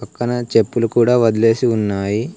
పక్కన చెప్పులు కూడా వదిలేసి ఉన్నాయి.